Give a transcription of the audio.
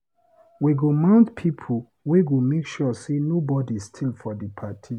We go mount pipo wey go make sure sey nobodi steal for di party.